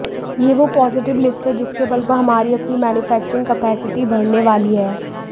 ये वो positive list है जिसके बल पर हमारी अपनी मैन्युफेक्चरिंग कैपेसिटी बढ़ने वाली है